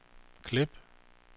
klip